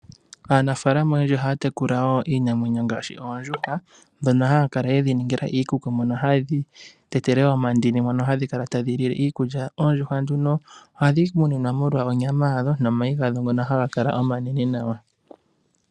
Aanafaalama oyendji ohaya tekula wo iinamwenyo ngaashi oondjuhwa ndhono haya kala ye dhi ningila iikuku mono haye dhi tetele omandini mono hadhi kala tadhi lile iikulya. Oondjuhwa nduno ohadhi muninwa molwa onyama yadho nomayi gadho ngono haga kala omanene nawa.